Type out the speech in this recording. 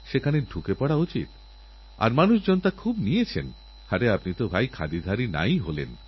প্রতিদিন প্রযুক্তি বদলাচ্ছে প্রতিদিন নতুন নতুন প্রযুক্তি আসছেফলে আগামী দিনগুলিতে নতুন সম্ভাবনার জন্ম দিচ্ছে বদলাচ্ছে